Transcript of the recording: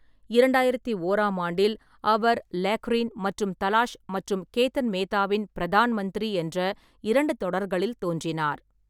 இரண்டாயிரத்து ஓராம் ஆண்டில், அவர் லேக்கரீன் மற்றும் தலாஷ் மற்றும் கேதன் மேத்தாவின் பிரதான் மந்திரி என்ற இரண்டு தொடர்களில் தோன்றினார்.